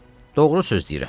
Doğru söz deyirəm.